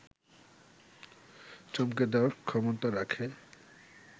চমকে দেয়ার ক্ষমতা রাখে